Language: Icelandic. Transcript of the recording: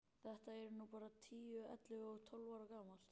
Þetta er nú bara tíu, ellefu og tólf ára gamalt.